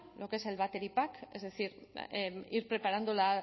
lo que es el battery pack es decir ir preparándola